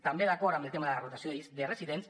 també d’acord en el tema de la rotació de residents